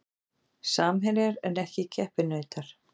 Samherjar en ekki keppinautar